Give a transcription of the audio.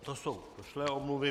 To jsou došlé omluvy.